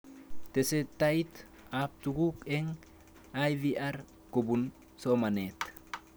Tesetait ab tuguk eng' IVR kopun somanet